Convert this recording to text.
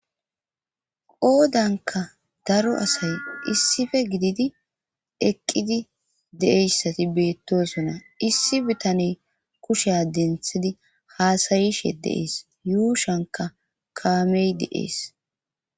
oodanka daro asay issife gididi eqqidi deeyssati beettosona issi bitaney kushea denthidi haasayishe deees yuushanka kaamey deees